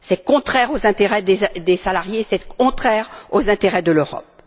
C'est contraire aux intérêts des salariés, c'est contraire aux intérêts de l'Europe.